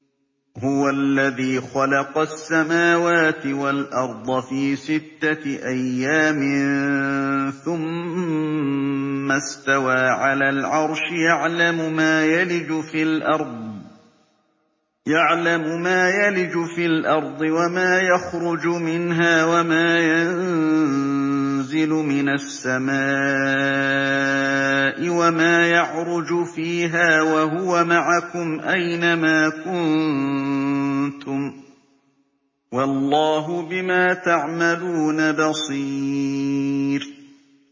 هُوَ الَّذِي خَلَقَ السَّمَاوَاتِ وَالْأَرْضَ فِي سِتَّةِ أَيَّامٍ ثُمَّ اسْتَوَىٰ عَلَى الْعَرْشِ ۚ يَعْلَمُ مَا يَلِجُ فِي الْأَرْضِ وَمَا يَخْرُجُ مِنْهَا وَمَا يَنزِلُ مِنَ السَّمَاءِ وَمَا يَعْرُجُ فِيهَا ۖ وَهُوَ مَعَكُمْ أَيْنَ مَا كُنتُمْ ۚ وَاللَّهُ بِمَا تَعْمَلُونَ بَصِيرٌ